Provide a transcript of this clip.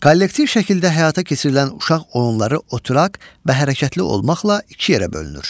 Kollektiv şəkildə həyata keçirilən uşaq oyunları oturaq və hərəkətli olmaqla iki yerə bölünür.